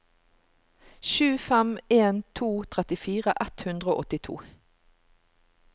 sju fem en to trettifire ett hundre og åttito